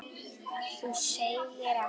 Þú segir ekki!?!